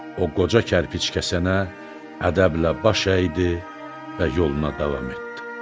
O, qoca kərpic kəsənə ədəblə baş əydi və yoluna davam etdi.